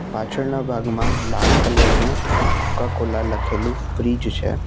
પાછળના ભાગમાં લાલ કલર નું કોકા કોલા લખેલું ફ્રીજ છે.